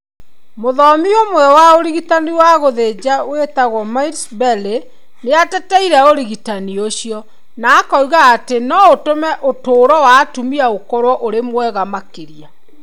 Mũthomi ũmwe wa ũrigitani wa gũthenja wĩtagwo Miles Berry nĩ ateteire ũrigitani ũcio .Na akiuga atĩ no ũtũme ũtũũro wa atumia ũkorũo ũrĩ mwega makĩria.